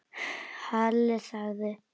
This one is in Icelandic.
Halli þagði.